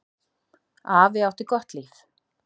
Afi átti gott líf.